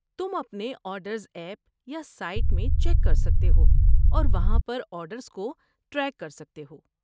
تم اپنے orders app یا سائٹ میں چیک کر سکتے ہو اور وہاں پر آرڈرز کو ٹریک کر سکتے ہو۔